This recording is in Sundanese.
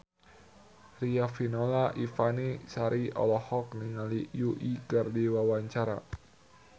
Riafinola Ifani Sari olohok ningali Yui keur diwawancara